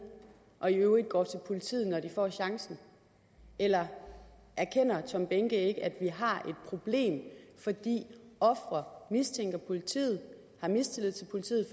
og i øvrigt går til politiet når de får chancen eller erkender herre tom behnke at vi har et problem fordi ofre mistænker politiet har mistillid til politiet